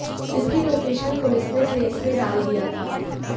जिसकी location police ने trace में डाल दिया था